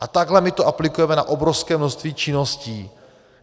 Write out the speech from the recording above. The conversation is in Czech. A takhle my to aplikujeme na obrovské množství činností.